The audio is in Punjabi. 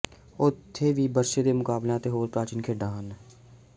ਉੱਥੇ ਵੀ ਬਰਛੇ ਦੇ ਮੁਕਾਬਲਿਆਂ ਅਤੇ ਹੋਰ ਪ੍ਰਾਚੀਨ ਖੇਡਾਂ ਹਨ